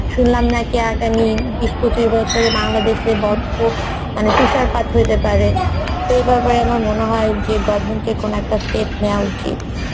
শুনলাম নাকি আগামী বিশ পচিশ বছরে বাংলাদেশের মানে তুষারপাত হতে পারে এইভাবে আমার মনেহয় যে govement এর কোনো একটা step নেওয়া উচিত